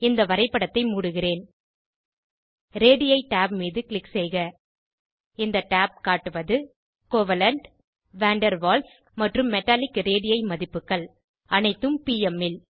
இந்த வரைப்படத்தை மூடுகிறேன் ரேடி tab மீது க்ளிக் செய்க இந்த tab காட்டுவது கோவலென்ட் வான் டெர் வால்ஸ் மற்றும் மெட்டாலிக் ரேடி மதிப்புகள் அனைத்தும் பிஎம் ல்